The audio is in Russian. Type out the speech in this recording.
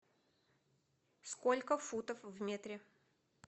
сколько футов в метре